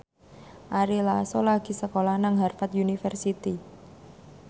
Ari Lasso lagi sekolah nang Harvard university